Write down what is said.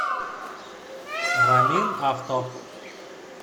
рамин авто